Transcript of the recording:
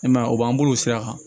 I m'a ye o b'an bolo o sira kan